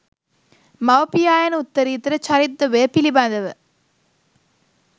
මව, පියා යන උත්තරීතර චරිතද්වයය පිළිබඳව